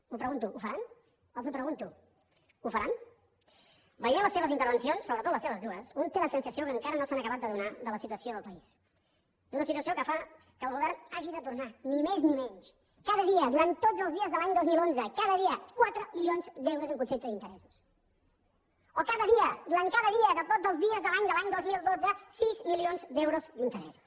ho pregunto ho faran els ho pregunto ho faran veient les seves intervencions sobretot les seves dues un té la sensació que encara no s’han acabat d’adonar de la situació del país d’una situació que fa que el govern hagi de tornar ni més ni menys cada dia durant tots els dies de l’any dos mil onze cada dia quatre milions d’euros en concepte d’interessos o cada dia durant cada dia tots els dies de l’any de l’any dos mil dotze sis milions d’euros d’interessos